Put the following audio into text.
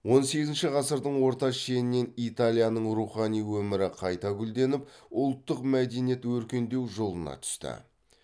он сегізінші ғасырдың орта шенінен италияның рухани өмірі қайта гүлденіп ұлттық мәдениет өркендеу жолына түсті